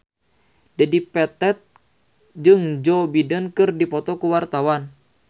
Dedi Petet jeung Joe Biden keur dipoto ku wartawan